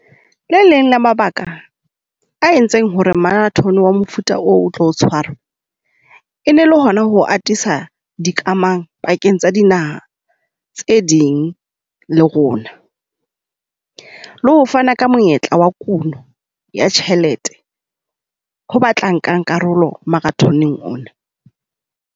Le leng le mabaka a entseng ho re marathon-e wa mofuta o tlo tshwarwe, e ne le hona ho atisa di kamang pakeng tsa dinaha tse ding le rona. Le ho fana ka monyetla wa kuno ya tjhelete, ho ba tla nkang karolo marathon-eng ona.